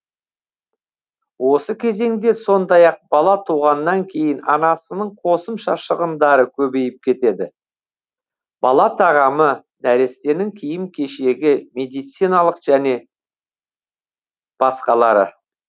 осы кезеңде сондай ақ бала туғаннан кейін анасының қосымша шығындары көбейіп кетеді бала тағамы нәрестенің киім кешегі медициналық және басқалары